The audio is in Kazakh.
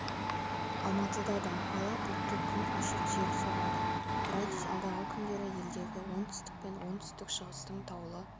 алматыда да ала бұлтты күн ашық жел соғады градус алдағы күндері елдегі оңтүстік пен оңтүстік-шығыстың таулы